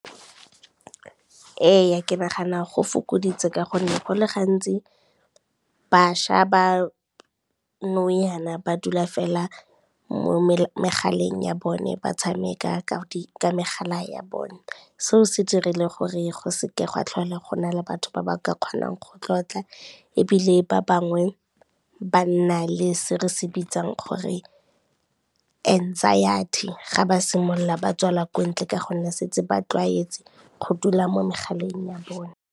Ee ke nagana go fokoditse ka gonne go le gantsi, bašwa ba nou jana ba dula fela mo megaleng ya bone ba tshameka ka megala ya bone. Seo se dirile gore go se ke gwa tlhola gona le batho ba ba ka kgonang go tlotla, ebile ba bangwe ba nna le se re se bitsang gore anxiety ga ba simolola ba tswela ko ntle ka gonne setse ba tlwaetse go dula mo megaleng ya bone.